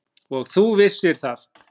Og þú vissir það.